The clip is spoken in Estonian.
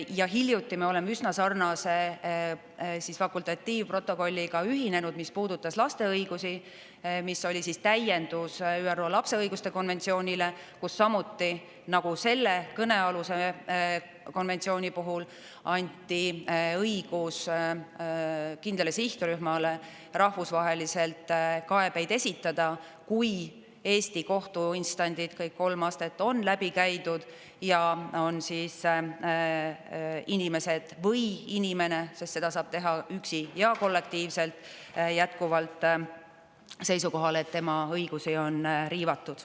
Ja hiljuti me oleme üsna sarnase fakultatiivprotokolliga ühinenud, mis puudutas laste õigusi, mis oli täiendus ÜRO lapse õiguste konventsioonile, kus samuti, nagu selle kõnealuse konventsiooni puhul, anti õigus kindlale sihtrühmale rahvusvaheliselt kaebeid esitada, kui Eesti kohtuinstantsid, kõik kolm astet, on läbi käidud ja on inimesed või inimene – sest seda saab teha üksi ja kollektiivselt – jätkuvalt seisukohal, et tema õigusi on riivatud.